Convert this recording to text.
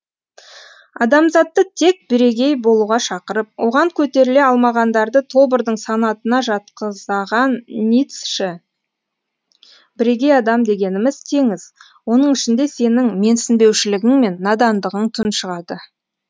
адамзатты тек бірегеи болуға шақырып оған көтеріле алмағандарды тобырдың санатына жатқызаған ницще бірегей адам дегеніміз теңіз оның ішінде сенің менсінбеушілігің мен надандығың тұншығады